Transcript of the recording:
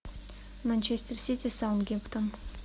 манчестер сити саутгемптон